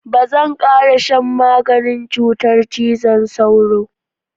Ba zan ƙara shan maganin cutar cizon sauro.